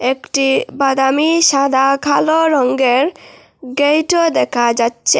একটি বাদামি সাদা কালো রঙ্গের গেটও দেখা যাচ্ছে।